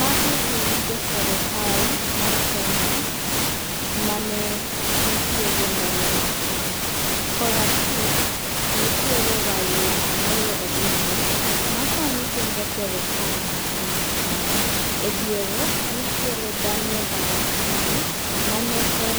Magi gin jo sirikal mar kenya mane nitiere ndalo machon .Korachich nitiere Raila Amolo Adinga ma sani pingo sirikal ma kenya kae. E diere nitiere Daniel Arap Moi mane en